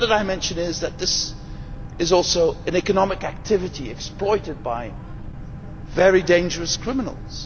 The other dimension is that this is also an economic activity exploited by very dangerous criminals.